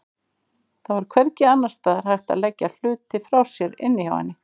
Það var hvergi annars staðar hægt að leggja hluti frá sér inni hjá henni.